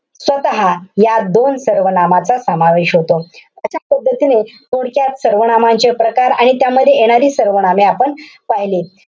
स्वतः या दोन सर्वनामांचा समावेश होतो. अशा पद्धतीने पुढच्या सर्वनामाचे प्रकार आणि त्यामध्ये येणारी सर्वनामे आपण पहिली.